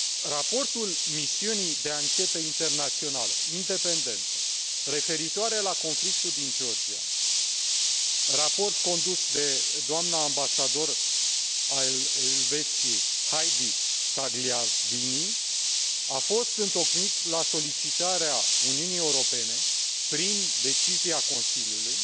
Raportul misiunii de anchetă internațională independentă referitoare la conflictul din Georgia, raport condus de doamna ambasador al Elveției, Heidi Tagliavini, a fost întocmit la solicitarea Uniunii Europene prin decizia Consiliului,